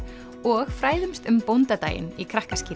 og fræðumst um bóndadaginn í